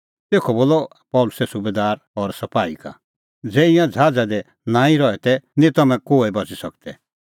तेखअ बोलअ पल़सी सुबैदार और सपाही का ज़ै ईंयां ज़हाज़ा दी नांईं रहै तै निं तम्हैं कोहै बच़ी सकदै